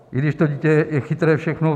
I když to dítě je chytré, všechno.